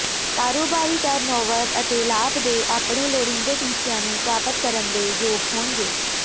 ਕਾਰੋਬਾਰੀ ਟਰਨਓਵਰ ਅਤੇ ਲਾਭ ਦੇ ਆਪਣੇ ਲੋੜੀਂਦੇ ਟੀਚਿਆਂ ਨੂੰ ਪ੍ਰਾਪਤ ਕਰਨ ਦੇ ਯੋਗ ਹੋਣਗੇ